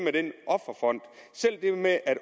med at